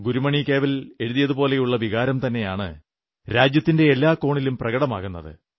ഗുരുമണി കേവൽ എഴുതിയതുപോലുള്ള വികാരം തന്നെയാണ് രാജ്യത്തിന്റെ എല്ലാ കോണിലും പ്രകടമാകുന്നത്